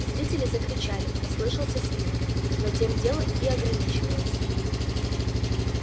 зрители закричали послышался свист но тем дело и ограничилось